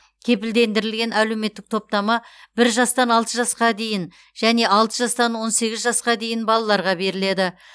кепілдендірілген әлеуметтік топтама бір жастан алты жасқа дейін және алты жастан он сегіз жасқа дейін балаларға беріледі